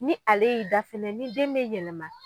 Ni ale y'i da fɛnɛ ni den bɛ yɛlɛma